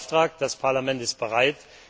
Das ist Ihr Auftrag. Das Parlament ist bereit.